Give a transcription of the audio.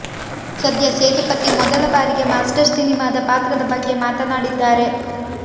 ಸದ್ಯ ಸೇತುಪತಿ ಮೊದಲ ಬಾರಿಗೆ ಮಾಸ್ಟರ್ ಸಿನಿಮಾದ ಪಾತ್ರದ ಬಗ್ಗೆ ಮಾತನಾಡಿದ್ದಾರೆ